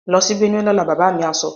Lọ sí Benue lọ́la! Bàbá mi á sọ.